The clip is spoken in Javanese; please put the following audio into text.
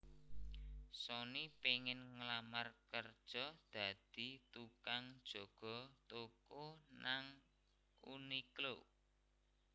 Soni pengen nglamar kerjo dadi tukang jaga toko nang Uniqlo